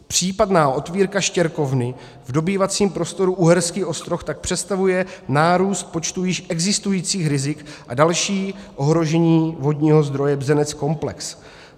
Případná otvírka štěrkovny v dobývacím prostoru Uherský Ostroh tak představuje nárůst počtu již existujících rizik a další ohrožení vodního zdroje Bzenec-komplex.